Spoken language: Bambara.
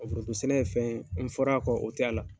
Wa foronto sɛnɛ ye fɛn ye n fɔra, a kɔ, o t'a la.